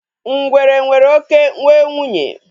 Ngwere nwere oké nwe nwunye